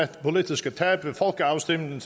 det politiske tab ved folkeafstemningen